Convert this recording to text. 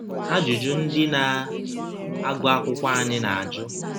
Ajụjụ ndị na - agụ akwụkwọ anyị na - ajụ